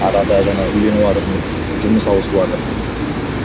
арада жаңа үйленіватырмыз жұмыс ауысыватыр